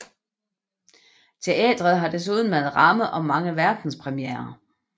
Teatret har desuden været ramme om mange verdenspremierer